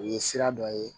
O ye sira dɔ ye